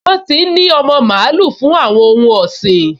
Wọ́n ti n ní ọmọ mààúlù fún àwọn ohun ọ̀sìn